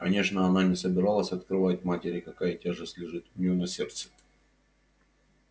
конечно она не собиралась открывать матери какая тяжесть лежит у неё на сердце